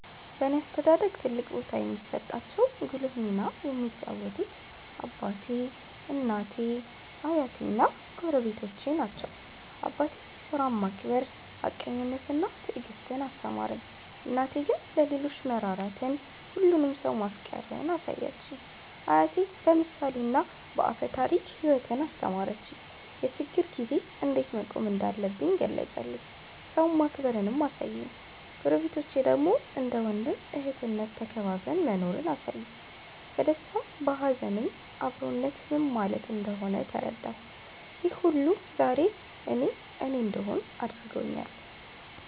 በእኔ አስተዳደግ ትልቅ ቦታ የሚሰጣቸው ጉልህ ሚና የተጫወቱት አባቴ፣ እናቴ፣ አያቴ እና ጎረቤቶቼ ናቸው። አባቴ ሥራን ማክበር፣ ሀቀኝነትን እና ትዕግስትን አስተማረኝ። እናቴ ግን ለሌሎች መራራትን፣ ሁሉንም ሰው ማፍቀርን አሳየችኝ። አያቴ በምሳሌና በአፈ ታሪክ ሕይወትን አስተማረኝ፤ የችግር ጊዜ እንዴት መቆም እንዳለብኝ ገለጸልኝ፤ ሰውን ማክበርንም አሳየኝ። ጎረቤቶቼ ደግሞ እንደ ወንድም እህትነት ተከባብረን መኖርን አሳዩኝ፤ በደስታም በሀዘንም አብሮነት ምን ማለት እንደሆነ ተረዳሁ። ይህ ሁሉ ዛሬ እኔ እኔ እንድሆን አድርጎኛል።